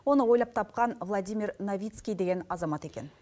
оны ойлап тапқан владимир новицкий деген азамат екен